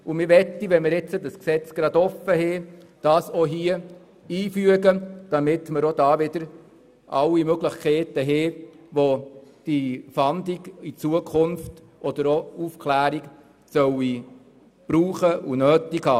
Da wir uns zurzeit mit der Revision des Gesetzes befassen, möchten wir diesen Punkt hier einfügen, damit wir alle Möglichkeiten haben, welche Fahndung und Aufklärung künftig benötigen.